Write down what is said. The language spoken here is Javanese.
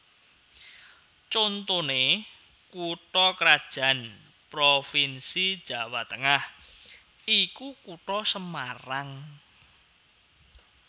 Contoné kutha krajan provinsi Jawa Tengah iku Kutha Semarang